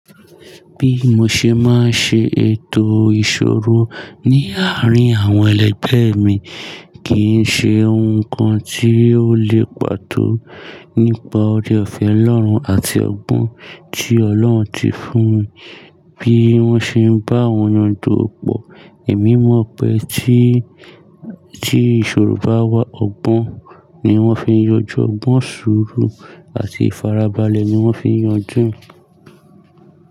Bí mo ṣe máa ń ṣe ètò ìṣòro ní àárín àwọn ẹlẹgbẹ́ mi kì í ṣe ohun kan tí ó lè pàtó nípa oore-ọ̀fẹ́ Ọlọ́run àti ọgbọ́n tí Ọlọ́run ti fún mi. Bí wọ́n ṣe ń bá wọn yanjú òpó, èmi mọ̀ pé tí, tí ìṣòro bá wà, ọgbọ́n ni wọ́n fi ń yanjú ọgbọ́n sùúrù àti ìfarabalẹ̀ ni wọ́n fi ń yanjú ẹ̀